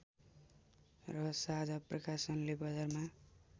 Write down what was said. र साझा प्रकाशनले बजारमा